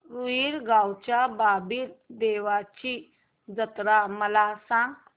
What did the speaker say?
रुई गावच्या बाबीर देवाची जत्रा मला सांग